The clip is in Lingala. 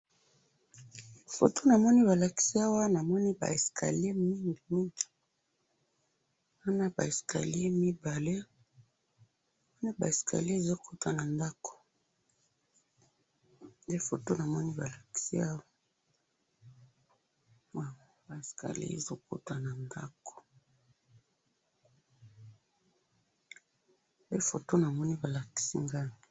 Namoni ba escalier ezo kota na ndako.